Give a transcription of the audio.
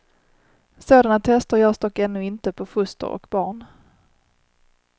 Sådana tester görs dock ännu inte på foster och barn.